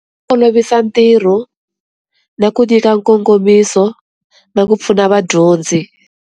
Olovisa ntirho na ku nyika nkongomiso na ku pfuna vadyondzi.